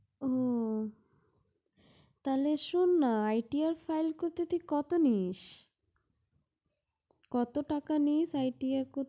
ও তাহলে শুননা, ITR file করতে তুই কত নিস? কত টাকা নিস ITR